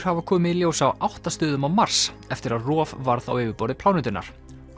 hafa komið í ljós á átta stöðum á Mars eftir að rof varð á yfirborði plánetunnar